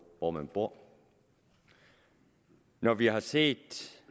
hvor man bor når vi har set